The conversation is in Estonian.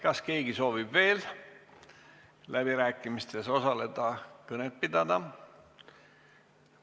Kas keegi soovib veel läbirääkimistes osaleda, kõnet pidada?